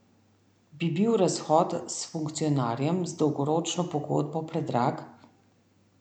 Bi bil razhod s funkcionarjem z dolgoročno pogodbo predrag?